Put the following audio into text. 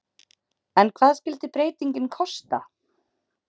En hvað skyldi breytingin kosta?